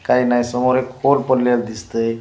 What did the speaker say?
काई नाही समोर एक बोर्ड पडलेलं दिसतंय.